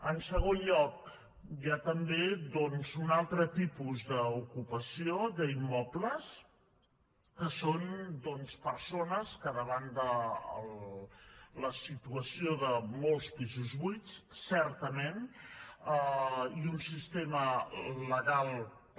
en segon lloc hi ha també doncs un altre tipus d’ocupació d’immobles que són persones que davant de la situació de molts pisos buits certament i un sistema legal per